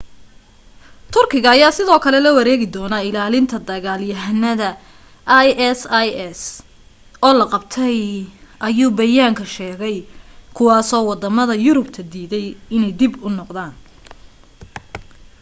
turkiga ayaa sidoo kale la wareegi doonaa ilaalinta dagal yahanada isis oo la qabtay ayuu bayaanka sheegay kuwaasoo wadamada yurubta diiday inay dib u noqdaan